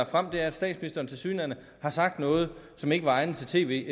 frem er at statsministeren tilsyneladende har sagt noget som ikke var egnet til tv